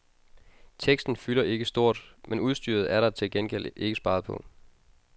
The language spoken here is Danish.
Teksten fylder ikke stort, men udstyret er der til gengæld ikke sparet på.